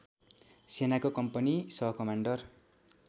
सेनाको कम्पनी सहकमान्डर